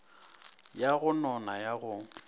ya go nona ya go